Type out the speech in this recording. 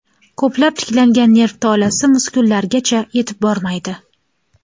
Ko‘plab tiklangan nerv tolasi muskullargacha yetib bormaydi.